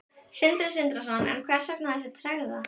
Sindri Sindrason: En hvers vegna þessi tregða?